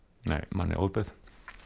manni ofbauð